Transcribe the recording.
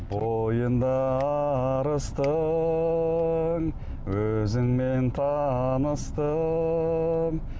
бойында арыстың өзіңмен таныстым